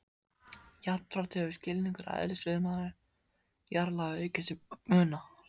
Jafnframt hefur skilningur á eðlisviðnámi jarðlaga aukist til muna.